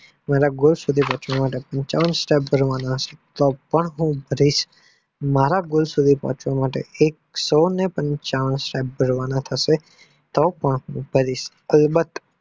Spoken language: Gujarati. મારા goal સુધી પહોંચવા માટે પંચાવન step ભરવા પડશે તો પણ હું ભરીશ મારા goal સુધી પહોંચવા માટે એક્સો પંચાવન step ભરવા ના હશે તો ભરીશ કોઈ બાદ